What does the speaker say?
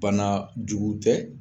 Bana jugu tɛ